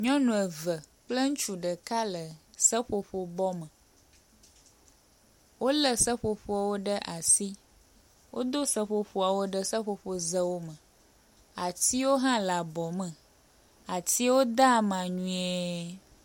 Nyɔnu eve kple ŋutsu ɖeka le seƒoƒo bɔme. Wole seƒoƒowo ɖe asi, wodo seƒoƒoawo ɖe seƒoƒozewo me atiwo hã le abɔ me atiwo de ama nyuie.